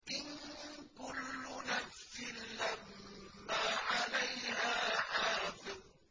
إِن كُلُّ نَفْسٍ لَّمَّا عَلَيْهَا حَافِظٌ